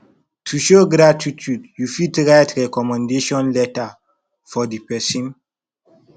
to show gratitude you fit write recommendation letter for di person